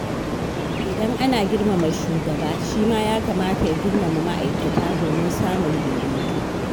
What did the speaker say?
Idan ana girmama shugaba, shi ma ya kamata ya girmama ma’aikata domin samun daidaito.